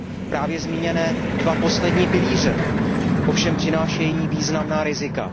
Právě zmíněné dva poslední pilíře ovšem přinášejí významná rizika.